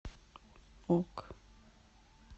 ок